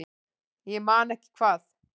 Ég man ekki hvað